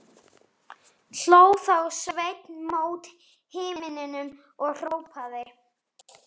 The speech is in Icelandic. Hló þá Sveinn mót himninum og hrópaði